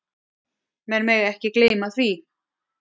Menn mega ekki gleyma því.